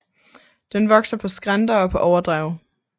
Den vokser på skrænter og på overdrev